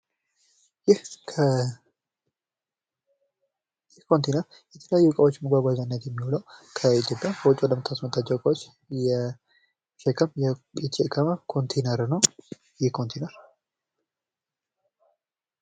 ይህ ከኮንትኔር የተለያዩ እቃዎችን መጓጓዣነት የሚውለው ከኢትዮጵያ ከውጭ ለምታስመጣቸው እቃዎች የተሸከመ ኮንቲነር ነው ይህ ኮንቲነር።